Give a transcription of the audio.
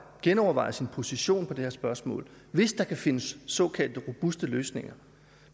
genoverveje sin position i det her spørgsmål hvis der kan findes såkaldte robuste løsninger